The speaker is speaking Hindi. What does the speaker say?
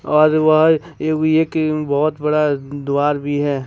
बहुत बड़ा द्वारा भी है।